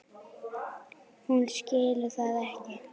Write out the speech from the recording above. Hún skilur það ekki.